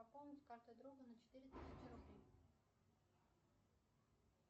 пополнить карту друга на четыре тысячи рублей